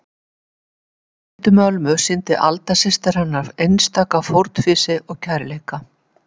Í veikindum Ölmu sýndi Alda systir hennar einstaka fórnfýsi og kærleika.